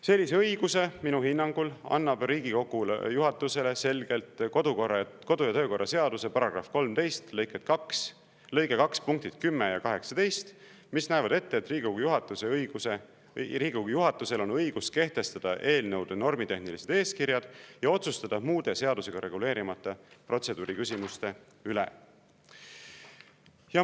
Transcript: Sellise õiguse minu hinnangul annab Riigikogu juhatusele selgelt kodu- ja töökorra seaduse § 13 lõike 2 punktid 10 ja 18, mis näevad ette, et Riigikogu juhatusel on õigus kehtestada eelnõude normitehnilised eeskirjad ja otsustada muude seadusega reguleerimata protseduuri küsimuste üle.